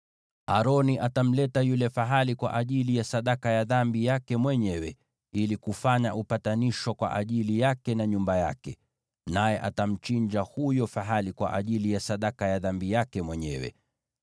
“Aroni atamleta yule fahali kwa ajili ya sadaka ya dhambi yake mwenyewe, ili kufanya upatanisho kwa ajili yake na nyumba yake, naye atamchinja huyo fahali kwa ajili ya sadaka ya dhambi yake mwenyewe.